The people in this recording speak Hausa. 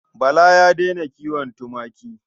Bala ya daina kiwon tumaki.